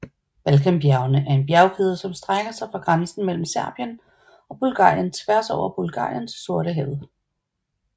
Balkanbjergene er en bjergkæde som strækker sig fra grænsen mellem Serbien og Bulgarien tværs over Bulgarien til Sortehavet